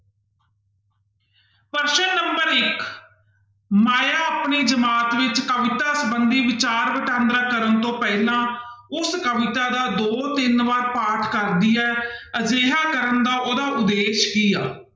ਪ੍ਰਸ਼ਨ number ਇੱਕ ਮਾਇਆ ਆਪਣੇ ਦਿਮਾਗ ਵਿੱਚ ਕਵਿਤਾ ਸੰਬੰਧੀ ਵਿਚਾਰ ਵਟਾਂਦਰਾਂ ਕਰਨ ਤੋਂ ਪਹਿਲਾਂ ਉਸ ਕਵਿਤਾ ਦਾ ਦੋ ਤਿੰਨ ਵਾਰ ਪਾਠ ਕਰਦੀ ਹੈ ਅਜਿਹਾ ਕਰਨ ਦਾ ਉਹਦਾ ਉਦੇਸ਼ ਕੀ ਆ।